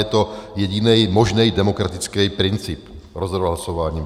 Je to jediný možný demokratický princip - rozhodovat hlasováním.